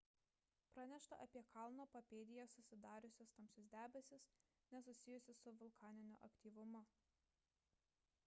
pranešta apie kalno papėdėje susidariusius tamsius debesis nesusijusius su vulkaniniu aktyvumu